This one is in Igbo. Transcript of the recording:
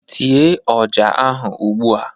Tiee ọja ahu ụgbụa!